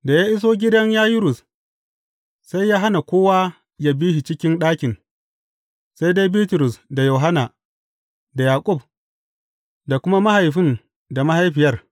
Da ya iso gidan Yayirus, sai ya hana kowa yă bi shi cikin ɗakin, sai dai Bitrus, da Yohanna, da Yaƙub, da kuma mahaifin da mahaifiyar.